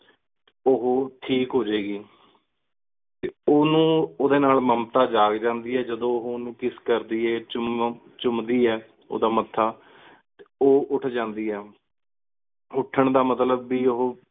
ਉਹ ਹੋਰ ਠੀਕ ਹੋਜੇ ਗੀ ਤੇ ਉਨੂ ਓਦੇ ਨਾਲ ਮੇਮ੍ਤਾ ਜਾਗ ਜਾਂਦੀ ਆਯ ਜਦੋ ਉਹੁ ਉਨੂ kiss ਕਰਦੀ ਆਯ ਚੁਮ ਚੂਮ ਦੀ ਆਯ ਓਦਾਂ ਮੱਥਾ। ਉਹ ਉਠੁ ਜਾਂਦੀ ਆਯ। ਉਥਾਨ ਦਾ ਮਤਲਬ ਬੇ ਉਹੁ